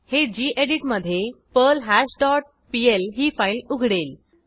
हे गेडीत मधे पर्ल्हाश डॉट पीएल ही फाईल उघडेल